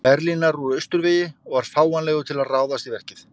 Berlínar úr austurvegi og var fáanlegur til að ráðast í verkið.